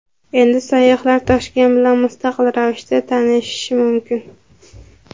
Endi sayyohlar Toshkent bilan mustaqil ravishda tanishishi mumkin.